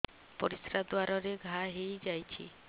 ପରିଶ୍ରା ଦ୍ୱାର ରେ ଘା ହେଇଯାଇଛି